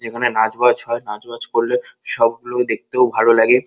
এখানে নাচ বাজ হয় নাচ বাজ করলে সবগুলোই দেখতে ও ভালো লাগে।